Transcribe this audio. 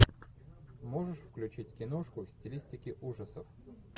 можешь включить киношку в стилистике ужасов